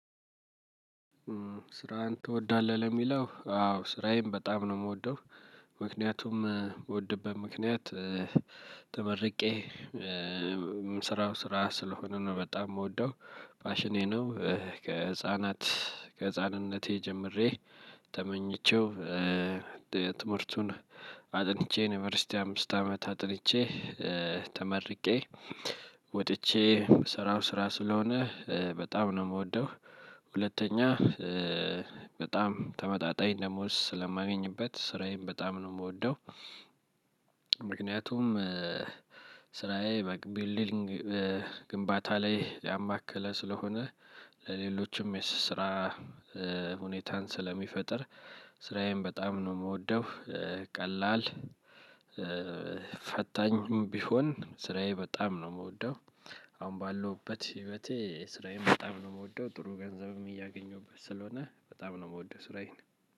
ስራህን ትወዳለህ? ለሚለው አዎ ስራዬን በጣም ነው የምወደው። ምክንያቱም በምወድበት ምክንያት ተመርቄ የምሰራው ስራ ስለሆነ ነው። በጣም የምወደው ፋሽኔ ነው ከህፃናት ከህፃንነቴ ጀምሬ ተመኝቼው ትምህርቱን አጥንቼ ዩንቨርሲቲ አምስት አመት አጥንቼ ተመርቄ ወጥቼ የምሰራው ስራ ስለሆነ በጣም ነው የምወደው። ሁለተኛ በጣም ተመጣጣኝ ደሞዝ ስለማገኝበት ስራዬን በጣም ነው የምወደው። ምክንያቱም ስራዬ በ'ቢውልዲንግ' ግንባታ ላይ ያማከለ ስለሆነ ለሌሎችም የስራ ሁኔታን ስለሚፈጥር ስራዬን በጣም ነው የምወደው ቀላል ፈታኝም ቢሆን ስራዬ በጣም ነው የምወደው። አሁን ባለውበት ህይወቴ ስራዬን በጣም ነው የምወደው። ጥሩ ገንዘብም እያገኘሁበት ስለሆነ በጣም ነው የምወደው ስራዬን።